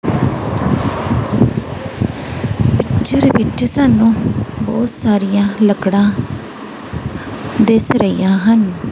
ਜਿਹੜੇ ਵਿੱਚ ਸਾਨੂੰ ਬਹੁਤ ਸਾਰੀਆਂ ਲੱਕੜਾਂ ਦਿਸ ਰਹੀਆਂ ਹਨ।